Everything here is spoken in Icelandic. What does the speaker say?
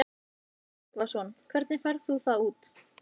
Sölvi Tryggvason: Hvernig færð þú það út?